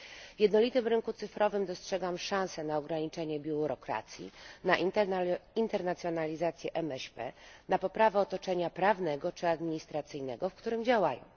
W jednolitym rynku cyfrowym dostrzegam szansę na ograniczenie biurokracji, na internacjonalizację MŚP, na poprawę otoczenia prawnego czy administracyjnego, w którym działają.